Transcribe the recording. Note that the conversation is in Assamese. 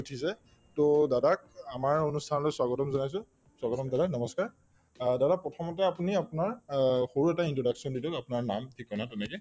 to দাদাক আমাৰ অনুষ্ঠানলৈ স্বাগতম জনাইছো স্বাগতম দাদা নমস্কাৰ অ দাদা প্ৰথমতে আপুনি আপোনাৰ অ সৰু এটা introduction দি দিয়ক আপোনাৰ নাম ঠিকনা তেনেকে